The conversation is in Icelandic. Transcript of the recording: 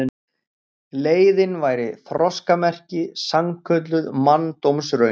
Leiðin væri þroskamerki, sannkölluð manndómsraun.